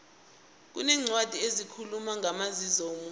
kuneencwadi ezikhuluma ngamazizo womuntu